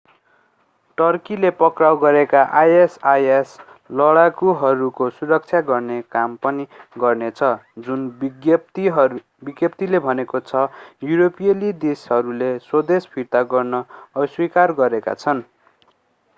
टर्कीले पक्राउ गरिएका isis लडाकूहरूको सुरक्षा गर्ने काम पनि गर्नेछ जुन विज्ञप्‍तिले भनेको छ युरोपियन देशहरूले स्वदेश फिर्ता गर्न अस्वीकार गरेका छन्।